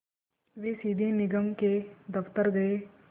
वे सीधे निगम के दफ़्तर गए